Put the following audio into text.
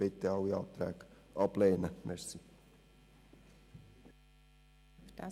Bitte lehnen Sie alle Anträge ab.